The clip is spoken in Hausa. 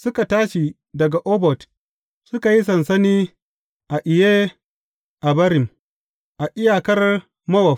Suka tashi daga Obot, suka yi sansani a Iye Abarim, a iyakar Mowab.